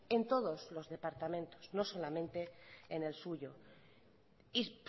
en todos los departamentos no solamente en el suyo y